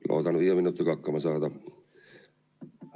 Loodan viie minutiga hakkama saada.